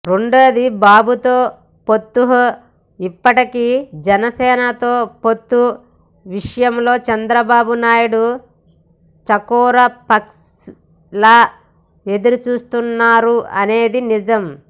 రెండోది బాబుతో పొత్తుః ఇప్పటికీ జనసేనతో పొత్తు విషయంలో చంద్రబాబు నాయుడు చకోర పక్షిలా ఎదురుచూస్తున్నారు అనేది నిజం